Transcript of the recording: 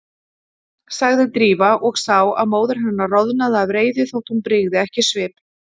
sagði Drífa og sá að móðir hennar roðnaði af reiði þótt hún brygði ekki svip.